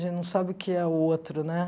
A gente não sabe o que é outro, né?